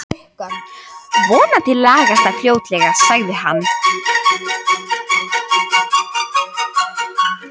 Vonandi lagast það fljótlega sagði hann.